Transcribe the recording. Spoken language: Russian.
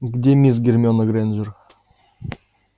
где мисс гермиона грэйнджер